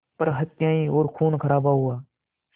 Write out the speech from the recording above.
पर हत्याएं और ख़ूनख़राबा हुआ